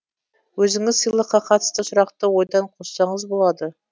өзіңіз сыйлыққа қатысты сұрақты ойдан қоссаңыз болады